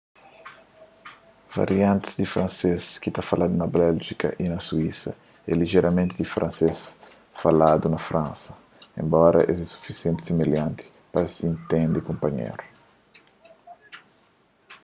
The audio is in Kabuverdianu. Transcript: variantis di fransês ki ta faladu na béljika y na suísa é lijeramenti diferenti di fransês faladu na fransa enbora es é sufisientimenti similhanti pa es intende kunpanhéru